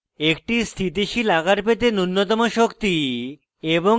একটি স্থিতিশীল আকার পেতে নুন্যতম শক্তি এবং